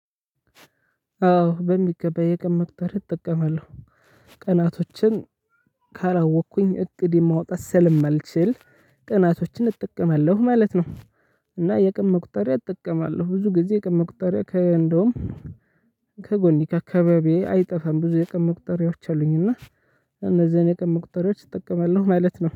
አዎ በሚገባ የቀን መቁጠሪያ እጠቀማለሁ። ቀናቶችን ካላወቅኩኝ እቅዴን ማውጣት ስለማልችል፥ ቀናቶችን እጠቀማለሁ ማለት ነው እና የቀን መቁጠሪያ እጠቀማለሁ። ብዙ ጊዜ የቀን መቁጠሪያ ከ እንደውም ከጎኔ ከአካባቢዬ አይጠፋም። ብዙ የቀን መቁጠሪያዎች አሉኝ እና እነዚያን የቀን መቁጠሪያዎች እጠቀማለሁ ማለት ነው።